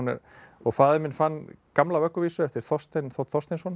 faðir minn fann gamla vögguvísu eftir Þorstein þ Þorsteinsson í